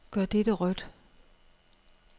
Gør dette rødt.